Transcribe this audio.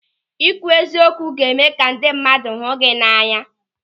Ị kwụ eziokwu ga-eme ka ndị mmadụ hụ gị n'anya.